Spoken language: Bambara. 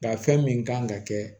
Nka fɛn min kan ka kɛ